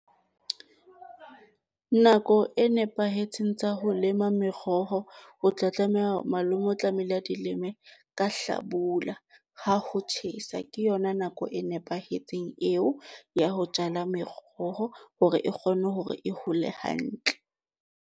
Nako e nepahetseng tsa ho lema meroho, o tla tlameha, malome o tlamehile a di leme ka hlabula ha ho tjhesa ke yona nako e nepahetseng eo ya ho jala meroho hore e kgone hore e hole hantle.